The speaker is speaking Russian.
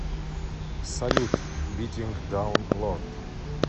салют битинг даун лорд